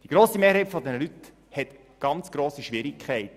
Die grosse Mehrheit dieser Personen hat ganz grosse Schwierigkeiten.